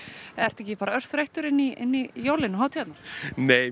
ertu ekki bara örþreyttir inn í jólin og hátíðirnar nei mér